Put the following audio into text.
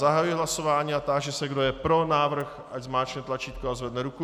Zahajuji hlasování a táži se, kdo je pro návrh, ať zmáčkne tlačítko a zvedne ruku.